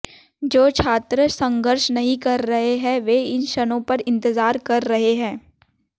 जो छात्र संघर्ष नहीं कर रहे हैं वे इन क्षणों पर इंतजार कर रहे हैं